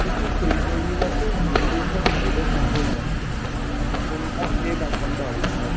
কিছু fake বেরিয়ে গেছে real বেরিয়ে গেছে বোঝা সম্ভব হয় না, কোনটা fake আর কোনটা original।